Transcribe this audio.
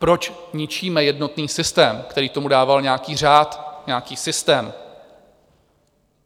Proč ničíme jednotný systém, který tomu dával nějaký řád, nějaký systém?